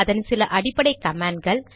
அதன் சில அடிப்படை கமாண்ட்கள்